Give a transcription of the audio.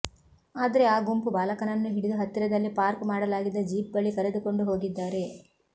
ಆದ್ರೆ ಆ ಗುಂಪು ಬಾಲಕನನ್ನು ಹಿಡಿದು ಹತ್ತಿರದಲ್ಲಿ ಪಾರ್ಕ್ ಮಾಡಲಾಗಿದ್ದ ಜೀಪ್ ಬಳಿ ಕರೆದುಕೊಂಡು ಹೋಗಿದ್ದಾರೆ